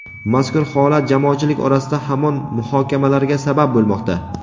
Mazkur holat jamoatchilik orasida hamon muhokamalarga sabab bo‘lmoqda.